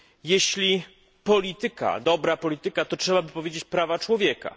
Jeśli polityka, dobra polityka, to trzeba by powiedzieć prawa człowieka.